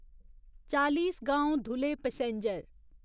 Chalisgaon Dhule passenger